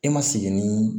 E ma segin ni